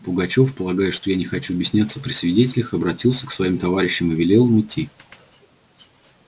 пугачёв полагая что я не хочу объясняться при свидетелях обратился к своим товарищам и велел им уйти